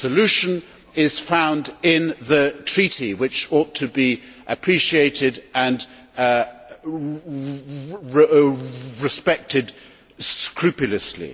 The solution is found in the treaty, which ought to be appreciated and respected scrupulously.